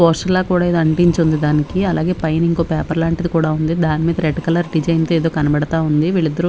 Poster ల కూడా ఎదో అట్టించి ఉంది దానికి అలాగే పైన ఇంకో పేపర్ లాంటింది కూడా ఉంది దాని మీద రెడ్ కలర్ డిజైన్ తో ఎదో కనబడుతావుంది వీళ్ళు ఇద్దరు.